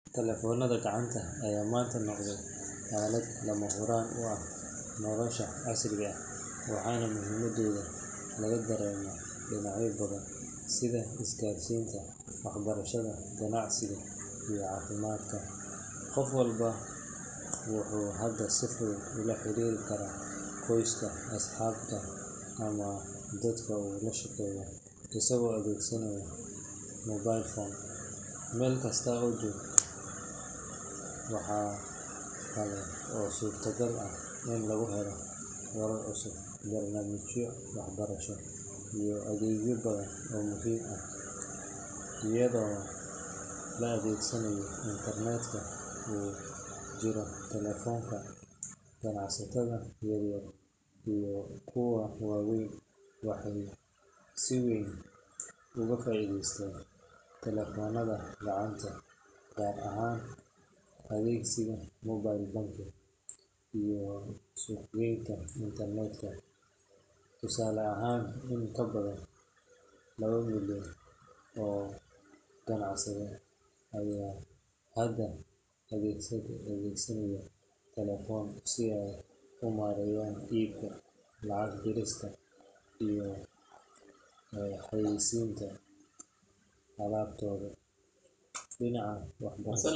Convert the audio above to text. Telefoonada gacanta ayaa maanta noqday aalad lama huraan u ah nolosha casriga ah, waxaana muhiimadooda laga dareemaa dhinacyo badan sida isgaarsiinta, waxbarashada, ganacsiga, iyo caafimaadka. Qof walba wuxuu hadda si fudud ula xiriiri karaa qoyska, asxaabta, ama dadka uu la shaqeeyo isagoo adeegsanaya mobile phone, meel kasta oo uu joogo. Waxa kale oo suurtagal ah in lagu helo wararka cusub, barnaamijyo waxbarasho, iyo adeegyo badan oo muhiim ah, iyadoo la adeegsanayo internet-ka ku jira telefoonka. Ganacsatada yaryar iyo kuwa waaweynba waxay si weyn uga faa’iidaysteen telefoonada gacanta, gaar ahaan adeegsiga mobile banking iyo suuqgeynta internet-ka. Tusaale ahaan, in ka badan laba milyan oo ganacsade ayaa hadda adeegsanaya telefoon si ay u maareeyaan iibka, lacag dirista, iyo xayeysiinta alaabtooda. Dhinaca.